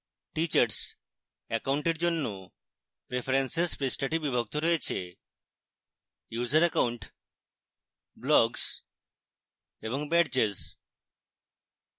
teachers অ্যাকাউন্টের জন্য preferences পৃষ্ঠাটি বিভক্ত রয়েছে: